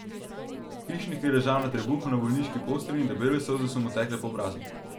Hišnik je ležal na trebuhu na bolniški postelji in debele solze so mu tekle po obrazu.